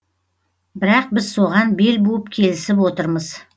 бірақ біз соған бел буып келісіп отырмыз